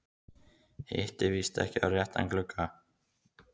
Hitti víst ekki á réttan glugga.